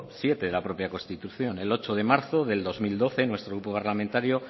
siete de la propia constitución el ocho de marzo del dos mil doce nuestro grupo parlamentario